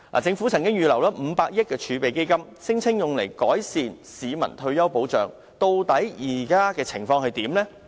政府曾經預留500億元儲備基金，聲稱用來改善市民退休保障，究竟現時的情況如何？